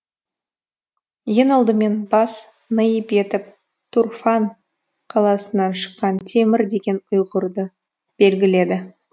ең алдымен бас наип етіп тұрфан қаласынан шыққан темір деген ұйғырды белгіледі